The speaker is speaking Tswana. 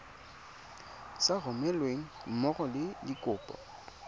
sa romelweng mmogo le dikopo